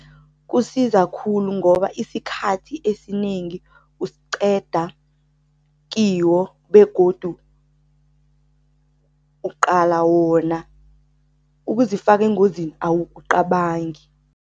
Kusiza khulu ngoba isikhathi esinengi usiqeda kiwo begodu uqala wona, ukuzifaka engozini awukucabangi.